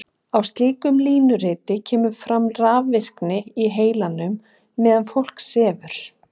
Á slíku línuriti kemur fram rafvirkni í heilanum meðan fólk sefur.